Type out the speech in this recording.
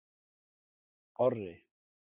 Orri